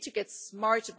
So we need to get smart.